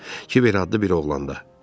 Kiver adlı bir oğlanda.